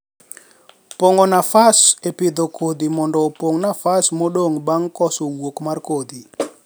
pongo nafas en pidho kodhi mondo opong nafas modong bang koso wuok mar kodhi.